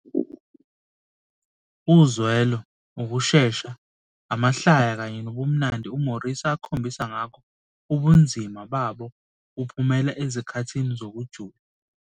Uzwelo, ukushesha, amahlaya kanye nobumnandi uMorrissy akhombisa ngakho ubunzima babo buphumela ezikhathini zokujula.